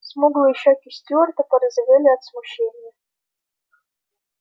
смуглые щёки стюарта порозовели от смущения